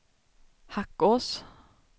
Hackås